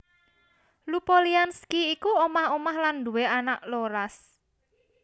Lupolianski iku omah omah lan nduwé anak rolas